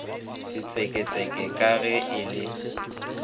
setseketseke ka ge e le